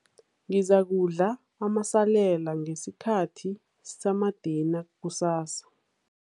Ngizakudla amasalela ngesikhathi samadina kusasa.